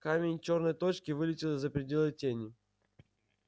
камень чёрной точкой вылетел за пределы тени